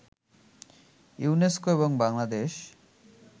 UNESCO এবং বাংলাদেশ